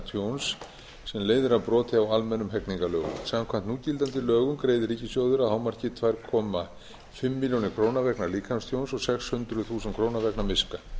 tjóns sem leiðir af broti á almennum hegningarlögum samkvæmt núgildandi lögum greiðir ríkissjóður að hámarki tvö og hálfa milljón króna sína líkamstjóns og sex hundruð þúsund krónur vegna miska